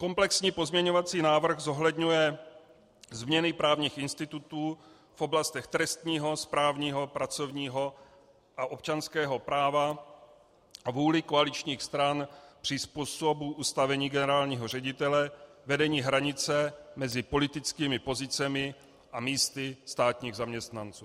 Komplexní pozměňovací návrh zohledňuje změny právních institutů v oblastech trestního, správního, pracovního a občanského práva a vůli koaličních stran při způsobu ustavení generálního ředitele, vedení hranice mezi politickými pozicemi a místy státních zaměstnanců.